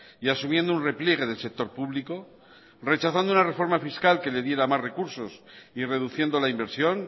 y asumiendo un repliegue del sector público rechazando una reforma fiscal que le diera más recursos y reduciendo la inversión